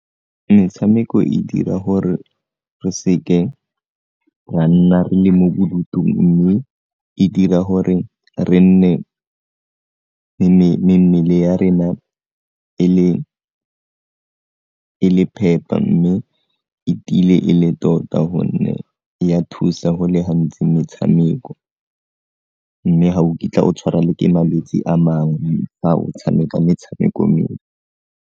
Metshameko e dira gore re se ke ra nna re le mo bodutung mme e dira gore re nne mmele ya rena e le phepa mme e tiile e le tota gonne ya thusa go le gantsi metshameko, mme ga o kitla o tshwara le ke malwetse a mangwe fa o tshameka metshameko e.